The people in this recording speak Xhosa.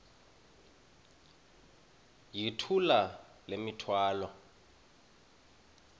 yithula le mithwalo